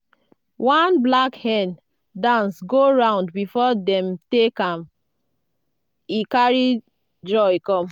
one black hen dance go round before dem take am e carry joy come.